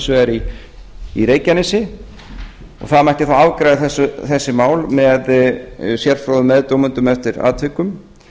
vegar í reykjanesi og það mætti þá afgreiða þessi mál með sérfróðum meðdómendum eftir atvikum